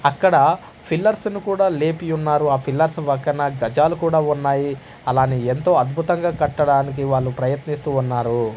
అక్కడ ఫిల్లర్స్ ను కూడా లేపి యున్నారు ఆ ఫిల్లర్స్ వక్కన గజాలు కూడా ఉన్నాయి అలానే ఎంతో అద్భుతంగా కట్టడానికి వాళ్ళు ప్రయత్నిస్తూ ఉన్నారు.